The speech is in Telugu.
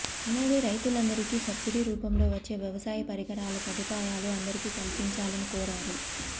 అలాగే రైతులందరికీ సబ్సిడీ రూపంలో వచ్చే వ్యవసాయ పరికరాల సదుపాయాలు అందరికీ కల్పించాలని కోరారు